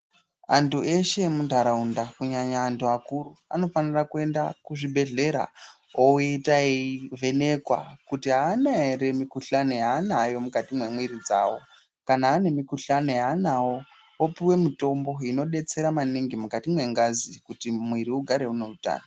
Antu eshe emundaraunda kunyanya antu akuru anofanirwa kuenda kuzvibhedhlera oita eivhenekwa kuti haana here mikuhlani yaanayo mukati memwiri dzawo kana anayo mikuhlani yaanawo opuwe mitombo inodetsera maningi mukati mengazi kuti muviri ugare une hutano.